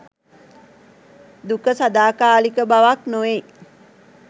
දුක සදාකාලික බවක් නොවෙයි.